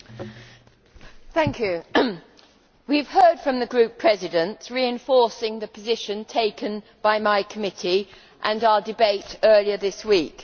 Mr President, we have heard from the Group Presidents, reinforcing the position taken by my committee and our debate earlier this week.